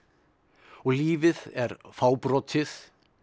og lífið er fábrotið